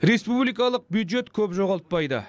республикалық бюджет көп жоғалтпайды